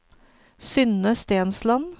Synne Stensland